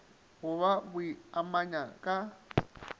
go ba a boimanyana ka